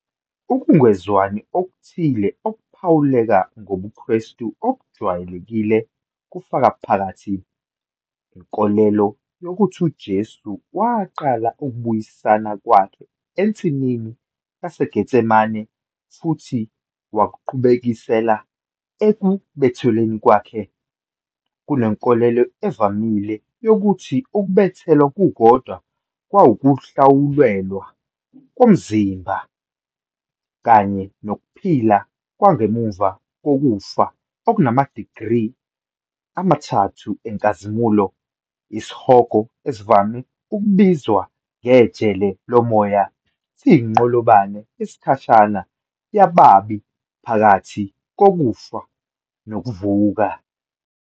Ukungezwani okuthile okuphawuleka ngobuKrestu obujwayelekile kufaka phakathi- Inkolelo yokuthi uJesu waqala ukubuyisana kwakhe ensimini yaseGetsemane futhi wakuqhubekisela ekubethelweni kwakhe, kunenkolelo evamile yokuthi ukubethelwa kukodwa kwakuwukuhlawulelwa komzimba, kanye nokuphila kwangemva kokufa okunamadigri amathathu enkazimulo, isihogo, esivame ukubizwa ngejele lomoya, siyinqolobane yesikhashana yababi phakathi kokufa nokuvuka.